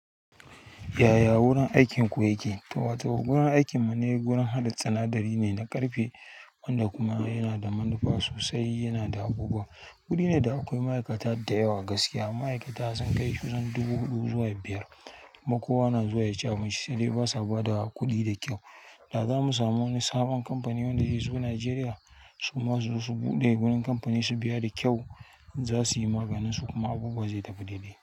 Ya-ya wurin aikin ku yake? To, wato wurin aikinmu ne gurin haɗa sinadari ne na ƙarfe wanda kuma yana da manufa sosai yana da abubuwa. Guri ne, da akwai ma'aikata da yawa gaskiya. Ma'aikata sun kai kusan dubu huɗu zuwa biyar kuma kowa na zuwa ya ci abinci sai dai basa ba da kuɗi da kyau. Da za mu samu wani sabon kamfani wanda zai zo Najeriya su ma suzo su buɗe gurin kamfani su biya da kyau, za su yi maganinsu kuma abubuwa zai tafi dai-dai.